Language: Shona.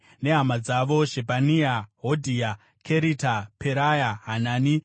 nehama dzavo: Shebhania, Hodhia, Kerita, Peraya, Hanani,